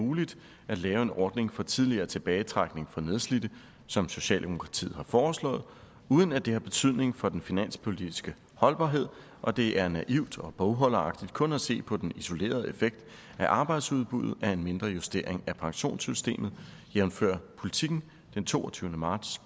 muligt at lave en ordning for tidligere tilbagetrækning for nedslidte som socialdemokratiet har foreslået uden at det har betydning for den finanspolitiske holdbarhed og at det er naivt og bogholderagtigt kun at se på den isolerede effekt på arbejdsudbuddet af en mindre justering af pensionssystemet jævnfør politiken den toogtyvende marts